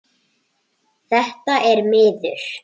Þetta er miður.